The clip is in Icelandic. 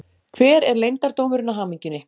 Hver er leyndardómurinn að hamingjunni